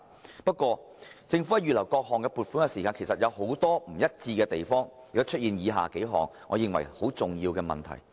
然而，政府在預留各項撥款時卻有很多不一致的地方，以致出現了以下數個我認為很重要的問題。